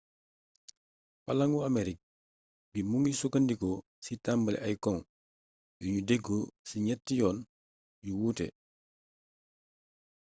palaŋu amerik bi mu ngi sukkandiku ci tambale ay cong yuñu deggoo ci ñett yoon yu wuute